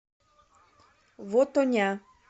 вотоня